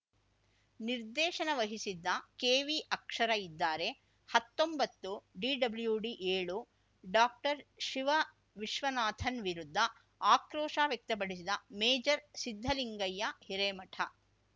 ನಿರ್ದೇಶನ ವಹಿಸಿದ್ದ ಕೆವಿ ಅಕ್ಷರ ಇದ್ದಾರೆ ಹತ್ತೊಂಬತ್ತುಡಿಡಬ್ಲೂಡಿಏಳು ಡಾಕ್ಟರ್ ಶಿವ ವಿಶ್ವನಾಥನ್‌ ವಿರುದ್ಧ ಆಕ್ರೋಶ ವ್ಯಕ್ತಪಡಿಸಿದ ಮೇಜರ್ ಸಿದ್ಧಲಿಂಗಯ್ಯ ಹಿರೇಮಠ